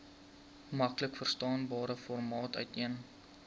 maklikverstaanbare formaat uiteen